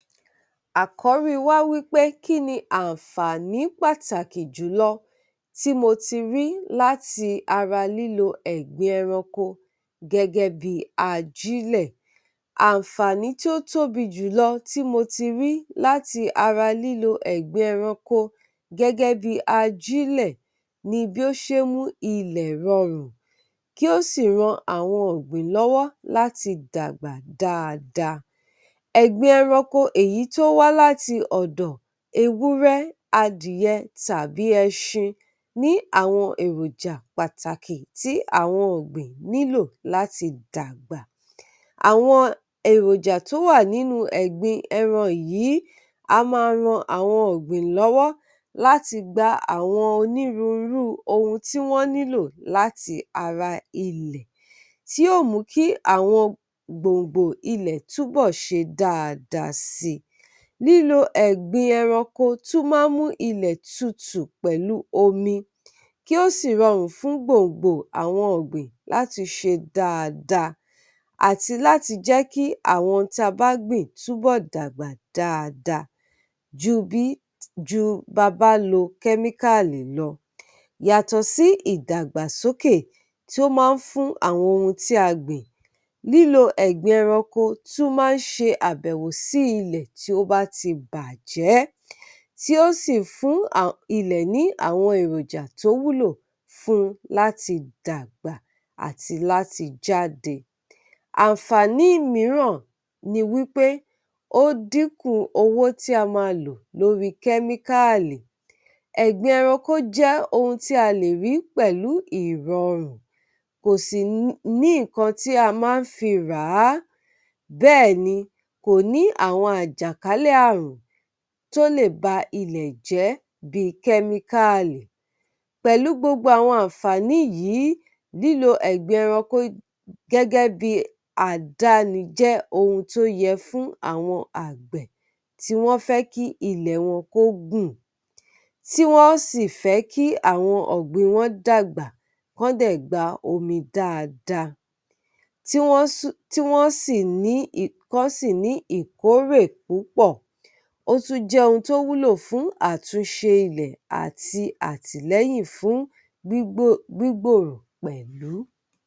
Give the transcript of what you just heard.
Àkọ́rí wa wí pé kí ni àǹfààní pàtàkì jùlọ tí mo ti rí láti ara lílo ẹ̀gbin ẹranko gẹ́gẹ́ bí i ajílẹ̀. Àǹfààní tí ó tóbi jùlọ tí mo ti rí láti ara lílo ẹ̀gbin ẹranko gẹ́gẹ́ bí i ajílẹ̀ ni bí ó ṣe ń mú ilẹ̀ rọrùn, kí ó sì ran àwọn ọ̀gbìn lọ́wọ́ láti dàgbà dáadáa. Ẹ̀gbin ẹranko, èyí tí ó wá láti ọ̀dọ̀ Ewúrẹ́, Adìyẹ, tàbí Ẹṣin ní àwọn èròjà pàtàkì tí àwọn ọ̀gbìn nílò láti dàgbà. Àwọn èròjà tí ó wà nínú ẹ̀gbin ẹran yìí a máa ran àwọn ọ̀gbìn lọ́wọ́ láti gba àwọn onírúurú ohun tí wọ́n nílò láti ara ilẹ̀, tí yóò mú kí àwọn gbòǹgbò ilẹ̀ túbọ̀ ṣe dáadáa si. Lílo ẹ̀gbin ẹranko tún máa ń mú ilẹ̀ tutù pẹ̀lú omi, kí ó sì rọrùn fún gbòǹgbò àwọn ọgbìn láti ṣe dáadáa, àti láti jẹ́ kí àwọn ohun tí a bá gbìn túbọ̀ dàgbà dáadáa ju bí ju ba bá lo kẹ́míkáàlì lọ. Yàtọ̀ sí ìdàgbàsókè tí ó máa ń fún àwọn ohun tí a gbìn, lílo ẹ̀gbin ẹranko tún máa ń ṣe àbẹ̀wò sí ilẹ̀ tí ó bá ti bàjé, tí ó sì fún ilẹ̀ ní àwọn èrọ̀jà tó wúlò fún láti dàgbà àti láti jáde. Àǹfààní mìíràn ni wí pé ó dínkù owó tí a máa lò lórí kẹ́míkáàlì. Ẹ̀gbin ẹranko jẹ́ ohun tí a lè rí pẹ̀lú ìrọrùn, kò sì ní ní nǹkan tí a máa ń fi rà á, bẹ́ẹ̀ ni kò ní àwọn àjàkálẹ̀ ààrùn tó lè ba ilẹ̀ jẹ́ bí i kẹ́míkáàlì. Pẹ̀lú gbogbo àwọn àǹfààní yìí, lílo ẹ̀gbin ẹranko gẹ́gẹ́ bí i àdáni jẹ́ ohun tó yẹ fún àwọn àgbè tí wọ́n fẹ́ kí ilẹ̀ wọn kó gùn, tí wọ́n sì fẹ́ kí àwọn ọ̀gbìn wọn dàgbà, kọ́n dẹ̀ gba omi dáadáa, tí wọ́n sì, tí wọ́n sì ní ì, kọ́n sì ní ìkórè púpọ̀. Ó tún jẹ́ ohun tó wúlò fún àtúnṣe ilẹ̀ àti àtìlẹ́yìn fún gbígbò gbígbòòrò pẹ̀lú.